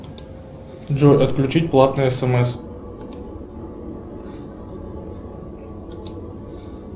джой отключить платное смс